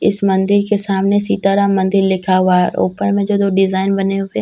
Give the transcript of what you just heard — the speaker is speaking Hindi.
इस मंदिर के सामने सीता राम मंदिल लिखा हुआ है ऊपर में जो दो डिजाइन बने हुए हैं उस --